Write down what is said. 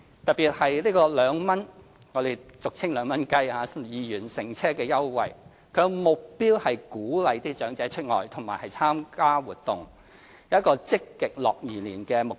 特別是俗稱所謂 "2 元乘車優惠"，其目標是鼓勵長者外出和參加活動，有一個積極樂頤年的目標。